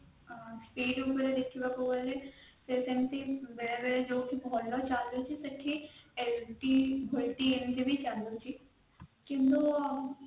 ଦେଖିବାକୁ ଗଲେ ଯୌଠି ଭଲ ଚାଲୁଛି ଶେଠି it volte ଏମିତିବି ଚାଳୁଛି କିନ୍ତୁ